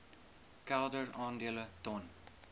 kelder aandele ton